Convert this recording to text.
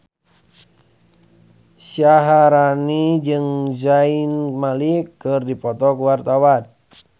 Syaharani jeung Zayn Malik keur dipoto ku wartawan